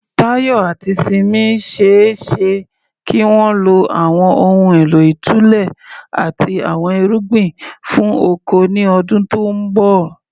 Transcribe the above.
Tayo àti Simi ṣe é ṣe kí wọ́n lo àwọn ohun èlò ìtúlẹ̀ àti àwọn irugbin fún oko ní ọdún tó ń bọ̀.